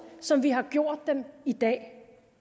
som vi har gjort dem i dag